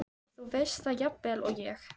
Þú veist það jafnvel og ég.